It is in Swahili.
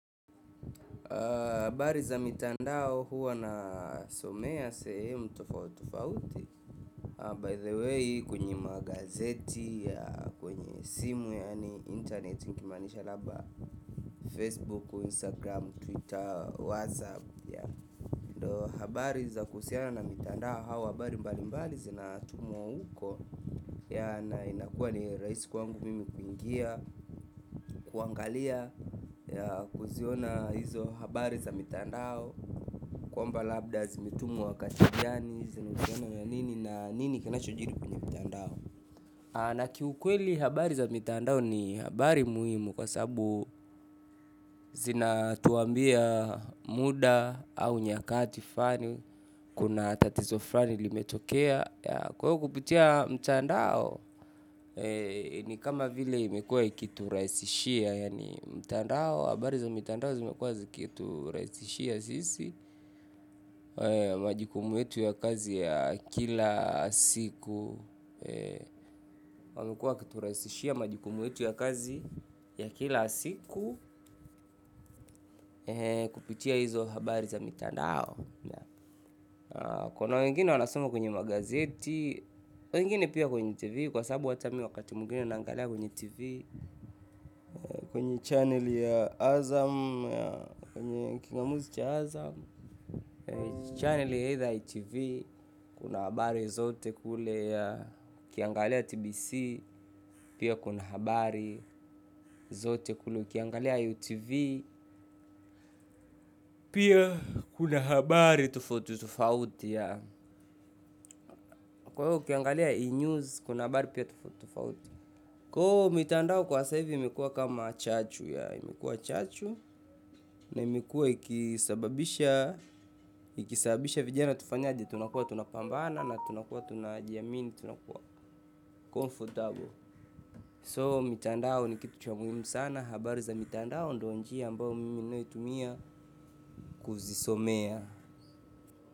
Habari za mitandao huwa nasomea sehemu tofauti tofauti na by the way kwenye magazeti kwenye simu yani internet nikimaanisha labda facebook habari za kuhusiana na mitandao au habari mbali mbali zinatumwa huko yeah na inakua ni rahisi kwangu mimi kuingia, kuangalia yeah kuziona hizo habari za mitandao kwamba labda zimetumwa wakati gani zinahusiana na nini na nini kinachojiri kwenye mtandao na kiukweli habari za mitandao ni habari muhimu kwa sababu zinatuambia muda au nyakati fani kuna tatizo fulani limetokea yeah kwahivyo kupitia mtandao ni kama vile imekuwa ikiturahisishia yaani mtandao, habari za mitandao zimekuwa zikiturahisishia sisi, majukumu yetu ya kazi ya kila siku wamekuwa wakiturahisishia majukumu yetu ya kazi ya kila siku, kupitia hizo habari za mitandao kuna wengine wanasoma kwenye magazeti wengine pia kwenye tv kwa sababu hata mimi wakati mwingine naangalia kwenye tv, kwenye channel ya azam kwenye kingamuzi cha azam. Channel ni either htv kuna habari zote kule ukiangalia tbc pia kuna habari zote kule ukiangalia utv pia kuna habari toufauti toufauti yeah. Kwahiyo, ukiangalia E-news, kuna habari pia toufauti toufauti kwa hivyo, mitandao kwa sasa hivi, imekuwa kama chachu yeah imekuwa chachu, na imekuwa ikisababisha ikisababisha vijana tufanyaje, tunakuwa tunapambana na tunakua tunajiamini tunakua comfortable so mitandao ni kitu cha muhimu sana habari za mitandao ndo njia ambao mimi ninayoitumia kuzisomea.